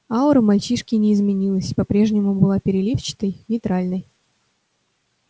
аура мальчишки не изменилась по-прежнему была переливчатой нейтральной